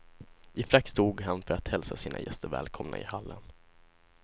I frack stod han för att hälsa sina gäster välkomna i hallen.